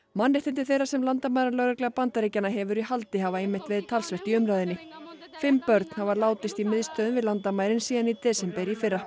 mannréttindi þeirra sem landamæralögregla Bandaríkjanna hefur í haldi hafa einmitt verið talsvert í umræðunni fimm börn hafa látist í miðstöðvum við landamærin síðan í desember í fyrra